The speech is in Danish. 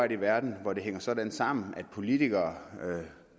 en verden hvor det hænger sådan sammen at politikere